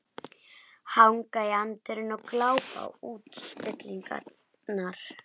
Hanga í anddyrinu og glápa á útstillingarnar.